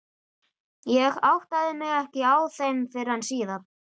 Ég áttaði mig ekki á þeim fyrr en síðar.